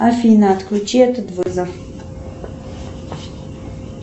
афина отключи этот вызов